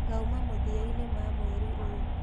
Ngauma mũthia-inĩ wa mweri ũyũ.